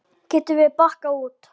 Getum við bakkað út?